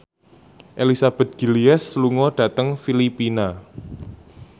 Elizabeth Gillies lunga dhateng Filipina